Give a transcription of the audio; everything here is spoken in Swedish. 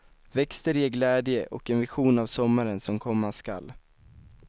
Växter ger glädje och en vision av sommaren som komma skall.